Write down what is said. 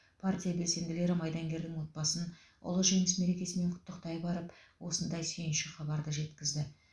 партия белсенділері майдангердің отбасын ұлы жеңіс мерекесімен құттықтай барып осындай сүйінші хабарды жеткізді